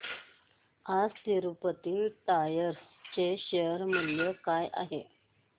आज तिरूपती टायर्स चे शेअर मूल्य काय आहे